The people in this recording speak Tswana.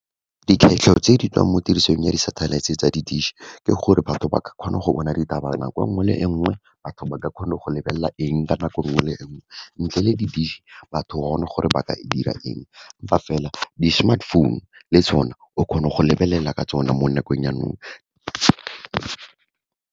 Dikgwetlho tse di tswang mo tirisong ya di-satellite-e tsa di-dish, ke gore batho ba ka kgona go bona ditaba nako enngwe le enngwe, batho ba ka kgona go lebelela eng ka nako enngwe le enngwe, ntle le di-dish, batho gona gore ba ka dira eng, empa fela, di-smartphone-u le tsona, o kgona go lebelela ka tsona mo nakong ya nou.